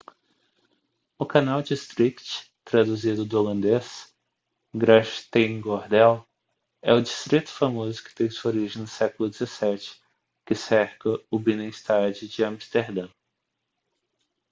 o canal district traduzido do holandês: grachtengordel é o distrito famoso que tem sua origem no século 17 que cerca o binnenstad de amsterdã